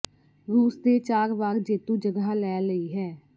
ਰੂਸ ਦੇ ਚਾਰ ਵਾਰ ਜੇਤੂ ਜਗ੍ਹਾ ਲੈ ਲਈ ਹੈ